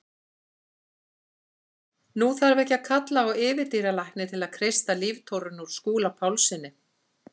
Nú þarf ekki að kalla á yfirdýralækni til að kreista líftóruna úr Skúla Pálssyni.